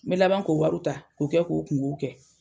N be laban k'o wariw ta k'o kɛ k'o kunkow kɛ.